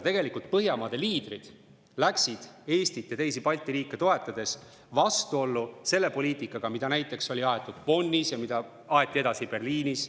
Tegelikult Põhjamaade liidrid läksid Eestit ja teisi Balti riike toetades vastuollu selle poliitikaga, mida näiteks oli aetud Bonnis ja mida aeti edasi Berliinis.